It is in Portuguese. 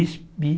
Espi?